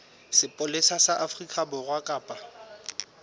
sepolesa sa afrika borwa kapa